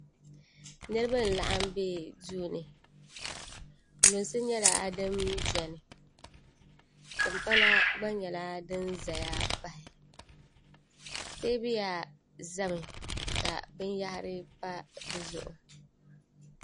niriba n-laɣim be duu ni lunsi nyɛla din beni timpana gba nyɛla din zaya pahi teebuya zami ka binyɛhiri pa di zuɣu